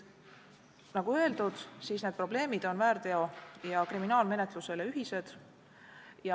Nagu öeldud, need probleemid on väärteo- ja kriminaalmenetluses ühised.